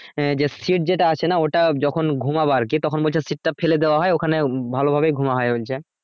এ যে seat যেটা আছে না ওটা যখন ঘুমাবো আর কি তখন বলছে seat টা ফেলে দেওয়া হয় ওখানে ভালো ভাবেই ঘুম